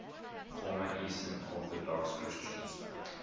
former eastern orthodox christians